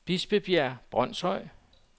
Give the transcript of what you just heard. Bispebjerg Brønshøj